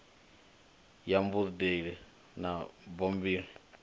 ya mubadeli na bambiri ya